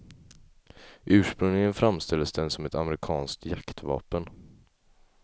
Ursprungligen framställdes den som ett amerikanskt jaktvapen.